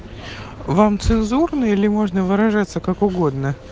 вам цензурный или можно выражаться как угодно